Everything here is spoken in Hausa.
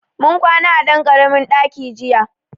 Mun kwana a ɗan ƙaramin ɗaki jiya.